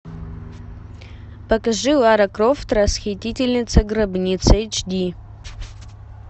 покажи лара крофт расхитительница гробниц эйч ди